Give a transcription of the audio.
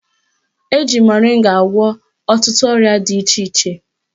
Eji moringa agwọ ọtụtụ ọrịa dị iche iche